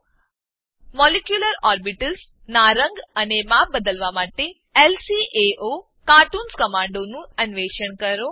molecular orbitals molecular orbitals નાં રંગ અને માપ બદલવા માટે લ્કાઓકાર્ટૂન કમાંડનું અન્વેષણ કરો